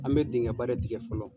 An bɛ dingɛba de tigɛ fɔlɔ